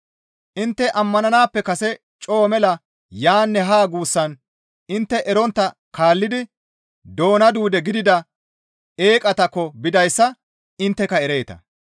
Intte ammananaappe kase coo mela yaanne haa guussan intte erontta kaallidi doona duude gidida eeqatakko bidayssa intteka ereeta.